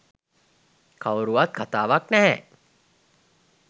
කවුරුවත් කතාවක් නැහැ